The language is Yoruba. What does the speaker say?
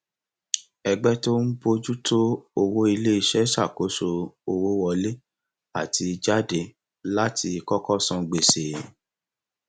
ẹgbẹ tó ń bójú tó owó iléiṣẹ ṣakoso owó wọlé àti jáde láti kọkọ san gbèsè